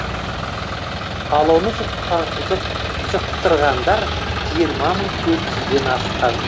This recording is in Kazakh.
ал оны жұқтырғандар жиырма мың төрт жүзден асқан